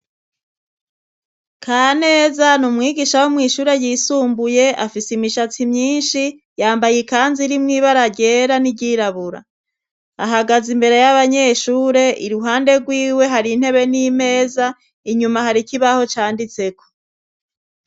Ka neza ni umwigisha wo mw'ishure ryisumbuye afise imishatsi myinshi yambaye ikanzi rimwo iba araryera n'iryirabura ahagaza imbere y'abanyeshure iruhande rwiwe hari intebe n'imeza inyuma hari ikibaho canditseko.